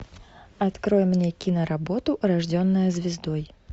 открой мне киноработу рожденная звездой